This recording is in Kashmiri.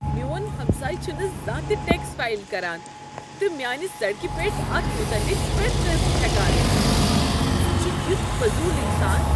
میون ہمساے چھُنہٕ زانٛہہ تہ ٹیکس فایل کران تہٕ میٛانہِ سڑکہ پیٹھ اتھ مُتعلق پریتھ كٲنسہِ تھیكان۔ سہُ چھُ یُتھ فضوٗل انسان۔